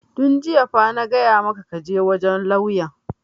Tun jiya fa na gaya maka ka je wurin lauyan!